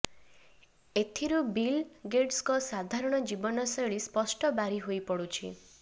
ଏଥିରୁ ବିଲ ଗେଟସଙ୍କ ସାଧାରଣ ଜୀବନ ଶୈଳୀ ସ୍ପଷ୍ଟ ବାରି ହୋଇପଡୁଛି